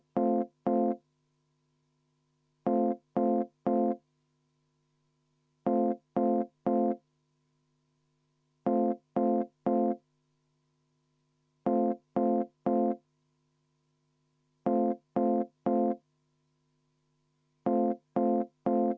Palun EKRE fraktsiooni nimel ka see muudatusettepanek panna hääletusele.